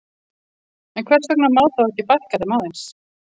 En hvers vegna má þá ekki fækka þeim aðeins?